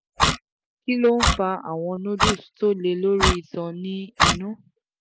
kí ló ń fa àwọn nodules tó le lori itan ni inù?